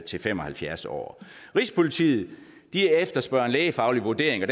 til fem og halvfjerds år rigspolitiet efterspørger en lægefaglig vurdering og